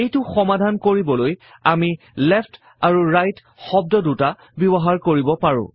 এইটো সমাধান কৰিবলৈ আমি লেফ্ট আৰু ৰাইট শব্দ দুটা ব্যৱহাৰ কৰিব পাৰো